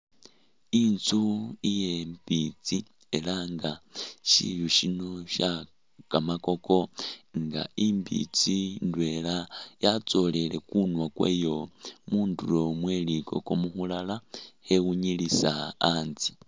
Intsu iye mbitsi ela nga shiyu shino she kamakoko nga imbitsi ndwela yatsolele kunwa kwayo mundulo mweli koko mukhulala khewunyilisa a'ntse